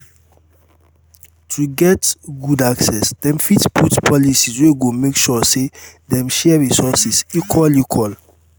to get good access dem fit put policies wey go make sure say dem share resources equal equal